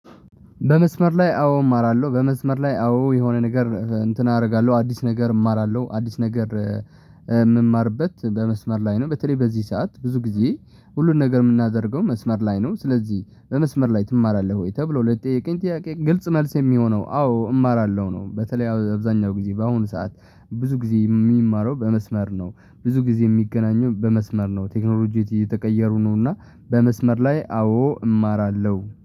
በመስመር ላይ አዎ እማራለሁ በመስመር ላይ አዎ የሆነ ነገር እንትን አደርጋለሁ አዲስ ነገር እማራለሁ አዲስ ነገር የምማርበት በመስመር ላይ ነው በተለይ በዚህ ሰዓት ብዙ ጊዜ ሁሉን ነገር የምናደርገው መስመር ላይ ነው ስለዚህ በመስመር ላይ ትማራለህ ወይ? ተብሎ ለቀኝ ጥያቄ ግልጽ መልስ የሚሆነው አዎ እማራለሁ ነው በተለይ አብዛኛው ጊዜ በአሁኑ ሰዓት ብዙ ጊዜ የሚማረው በመስመር ነው። ብዙ ጊዜ የሚገናኘው በመስመር ነው ቴክኖሎጂዎች እየተቀየሩ ነውና በመስመር ላይ አዎ እማራለሁ